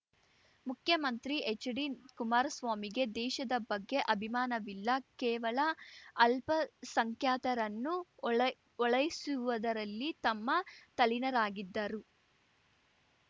ಮುಖ್ಯಮಂತ್ರಿ ಹೆಚ್ಡಿ ಕುಮಾರಸ್ವಾಮಿಗೆ ದೇಶದ ಬಗ್ಗೆ ಅಭಿಮಾನವಿಲ್ಲ ಕೇವಲ ಅಲ್ಪಸಂಖ್ಯಾತರನ್ನು ಓಲೈಓಲೈಸುವುದರಲ್ಲಿ ತಮ್ಮ ತಲ್ಲೀನರಾಗಿದ್ದರು